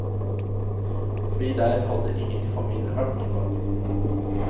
Fordi der hadde ingen i familien vært noen gang.